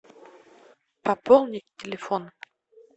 пополнить телефон